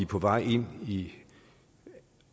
på vej ind i